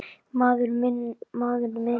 Maður minn, maður minn.